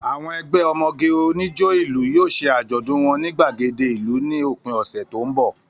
Àwọn ẹgbẹ́ ọmọge onijó ìlú yóò ṣe àjọ̀dún wọn ní gbàgede ìlú ní òpin ọ̀sẹ̀ tó ń bọ̀